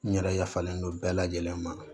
N yɛrɛ y'a fɔlen don bɛɛ lajɛlen ma